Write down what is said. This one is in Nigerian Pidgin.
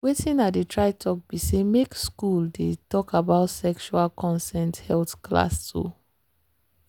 watin i dey try talk be say make school dey talk about sexual consent health class. um